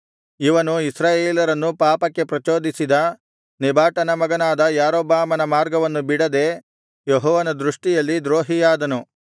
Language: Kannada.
ಇವನು ಇಸ್ರಾಯೇಲರನ್ನು ಪಾಪಕ್ಕೆ ಪ್ರಚೋದಿಸಿದ ನೆಬಾಟನ ಮಗನಾದ ಯಾರೊಬ್ಬಾಮನ ಮಾರ್ಗವನ್ನು ಬಿಡದೆ ಯೆಹೋವನ ದೃಷ್ಟಿಯಲ್ಲಿ ದ್ರೋಹಿಯಾದನು